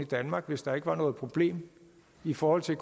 danmark hvis der ikke var noget problem i forhold til